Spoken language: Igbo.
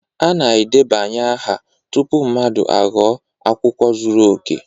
A na-edebanye aha tupu mmadụ aghọọ akwụkwọ zuru oke